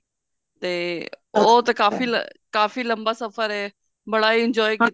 ਤੇ ਉਹ ਤੇ ਕਾਫੀ ਕਾਫੀ ਲੰਬਾ ਸਫਰ ਹੈ ਬੜਾ enjoy ਕੀਤਾ